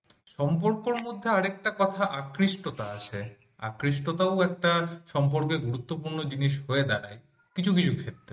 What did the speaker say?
সম্পর্কর মধ্যে আরেকটা কথা আকৃষ্টতা আছে আকৃষ্টতাও একটা সম্পর্কর গুরুত্বপূর্ণ জিনিস হয়ে দাঁড়ায় কিছু কিছু ক্ষেত্রে।